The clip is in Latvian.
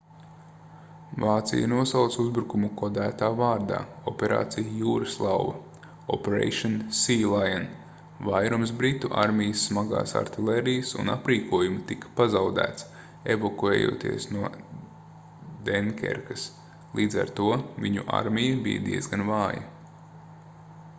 vācija nosauca uzbrukumu kodētā vārdā operācija jūraslauva operation sealion. vairums britu armijas smagās artilērijas un aprīkojuma tika pazaudēts evakuējoties no denkerkas līdz ar to viņu armija bija diezgan vāja